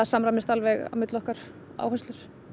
samræmast alveg á milli okkar áherslur